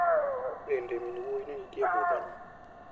Bende min wuoyi ne nitie e budhono?